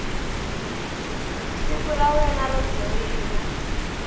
siku ra wena ro joyina